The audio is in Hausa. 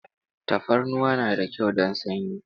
Tafarnuwa na da kyau don sanyi.